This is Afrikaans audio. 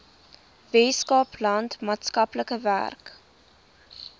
weskaapland maatskaplike werk